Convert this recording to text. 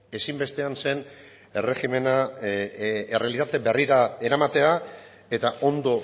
ezinbestean zen erregimena errealitate berrira eramatea eta ondo